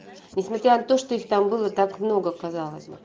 несмотря на то что их там было так много казалось бы